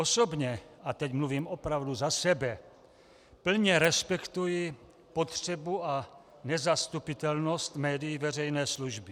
Osobně, a teď mluvím opravdu za sebe, plně respektuji potřebu a nezastupitelnost médií veřejné služby.